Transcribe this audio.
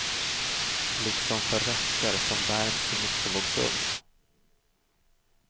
Liksom för rätter som värms i mikrovågsugn.